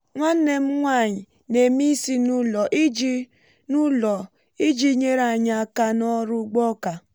nwanne m nwanyị na-èmé isi n'ụlọ iji n'ụlọ iji nyere anyị aka n’ọrụ ugbo ọka